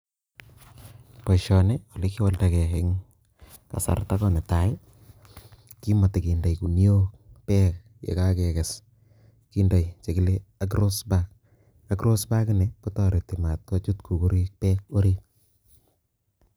Boisioni ole kiwaldakei eng kasarta ko netai, kimatekendei kuniok beek ye kakekes, kindei che kile agross bank, agross bankini kotoreti matkochut kukuriik beek arit.